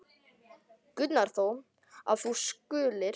Gunnar þó, að þú skulir.